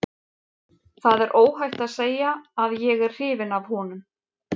Það er óhætt að segja að ég er hrifinn af honum.